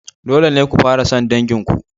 Dole ne ku fara son dangin ku.